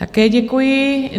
Také děkuji.